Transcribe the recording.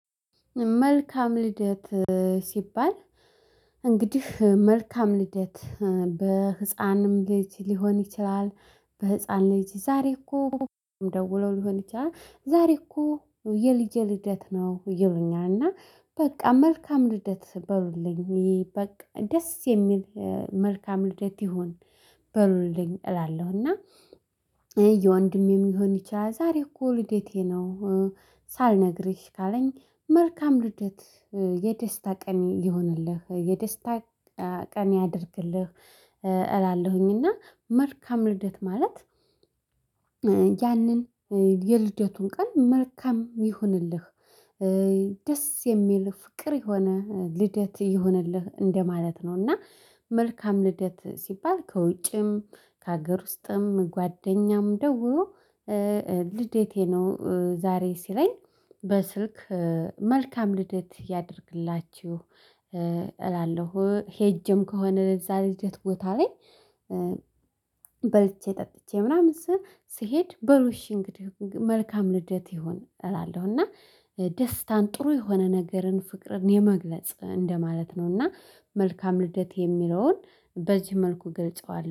መልካም ልደት ሲባል እንግዲህ መልካም ልደት በህፃንም ልጅ ሊሆን ይችላል። በህፃን ልጅ ዛሬ እኮ ደውሎ ሊሆን ይችላል ዛሬ እኮ የልጅ ልደት ነው ይሉኛል። እና በቃ መልካም ልደት በሉልኝ ይሄ በቃ ደስ የሚል መልካም ልደት ይሁን በሉልኝ እላለሁ። እና የወንድ የሚሆን ይችላል ዛሬ እኮ ልዴቴ ነው። ሳልነግርሽ ካለኝ መልካም ልደት የደስታ ቀን ይሆንልህ የደስታ ቀን ያድርግልህ እላለሁኝ። እና መልካም ልደት ማለት ያንን የልደቱን ቀን መልካም ይሁንልህ። ደስ የሚል ፍቅር የሆነ ልደት ይሁንልህ እንደማለት ነው። እና መልካም ልደት ሲባል ከውጭም ከሀገር ውስጥም ጓደኛም ደግሞ ልዴቴ ነው ዛሬ ሲለኝ በስልክ መልካም ልዴት ያድርግላችሁ እላለሁ። ሄጅም ከሆነ ለዛ ልደት ቦታ ላይ በልቼ ጠጥቼ ምናምን ስሄድ በሩሽ እንግዲህ መልካም ልደት ይሁን እላለሁ። እና ደስታን ጥሩ የሆነ ነገርን ፍቅርን የመግለጽ እንደማለት ነው። እና መልካም ልደት የሚለውን በዚህ መልኩ ገልጸዋል